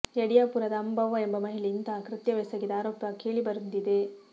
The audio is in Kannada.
ಯಡಿಯಾಪುರದ ಅಂಬವ್ವ ಎಂಬ ಮಹಿಳೆ ಇಂತಹ ಕೃತ್ಯವೆಸಗಿದ ಆರೋಪ ಕೇಳಿ ಬಂದಿದೆ